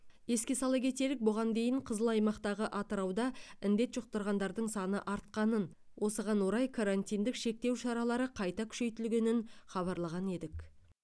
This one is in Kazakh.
еске сала кетелік бұған дейін қызыл аймақтағы атырауда індет жұқтырғандардың саны артқанын осыған орай карантиндік шектеу шаралары қайта күшейтілгенін хабарлаған едік